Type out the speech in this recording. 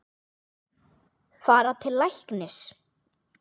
Fara til læknis?